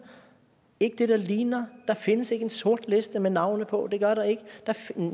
ikke det der ligner der findes ikke en sort liste med navne på det gør der ikke